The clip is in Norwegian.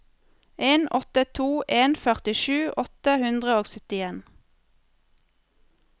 en åtte to en førtisju åtte hundre og syttien